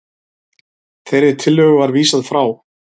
Þeirri tillögu var vísað frá